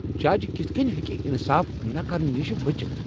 جج کتھہٕ کٔنۍ ہیکہٕ انصاف نہ کرنہٕ نشہ بچتھ؟